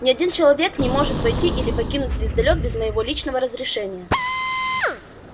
ни один человек не может войти или покинуть звездолёт без моего личного разрешения